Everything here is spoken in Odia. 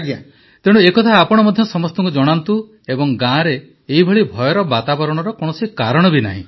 ପ୍ରଧାନମନ୍ତ୍ରୀ ତେଣୁ ଏ କଥା ଆପଣ ମଧ୍ୟ ସମସ୍ତଙ୍କୁ ଜଣାନ୍ତୁ ଏବଂ ଗାଁରେ ଏଭଳି ଭୟର ବାତାବରଣର କୌଣସି କାରଣ ନାହିଁ